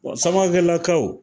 Wa Samakɛlakaw